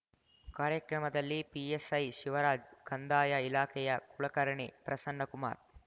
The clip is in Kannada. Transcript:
ಕಾರ್ಯಕ್ರಮದಲ್ಲಿ ಪಿಎಸ್ಐ ಶಿವರಾಜ್ ಕಂದಾಯ ಇಲಾಖೆಯ ಕುಲಕರ್ಣಿ ಪ್ರಸನ್ನಕುಮಾರ್